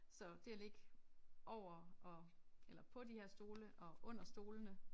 Så det at ligge over og eller på de her stole og under stolene